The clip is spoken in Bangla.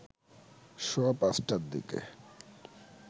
সোয়া ৫টার দিকে